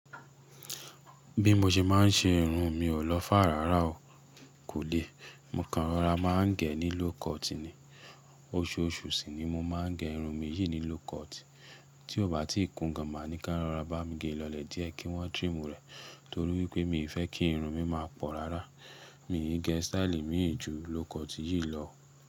Bí mo ṣe máa ń ṣe irun, mi ò lọ fáà rárá o. Kò le. Mo kanrara máa ń gẹ̀ ní low cut ni. Oṣooṣù sì ni mo máa gẹ̀ irun mi yìí ní low cut. Tí ó bá ti kún gan, màá ní ká rọra bá mi gẹ̀ lọlẹ̀ díẹ̀ kí wọ́n trim rẹ̀ torí wípé mi fẹ́ kí irun mi máa pọ̀ rárá. Mi ò ní gẹ̀ stáílì mìí jù low cut yìí lọ.